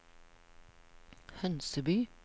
Hønseby